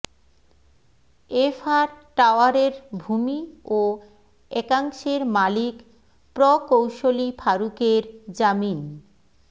FR টাওয়ারের ভূমি ও একাংশের মালিক প্রকৌশলী ফারুকের জামিন